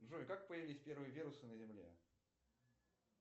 джой как появились первые вирусы на земле